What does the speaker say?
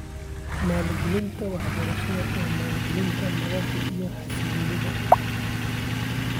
Maalgelinta waxbarashada waa maalgelinta nabadda iyo xasilloonida .